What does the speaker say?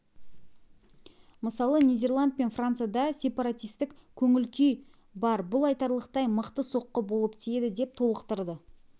мысалы нидерланд пен францияда сепаратистік көңіл-күй бар бұл айтарлықтай мықты соққы болып тиеді деп толықтырды